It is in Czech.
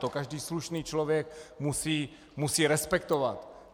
To každý slušný člověk musí respektovat.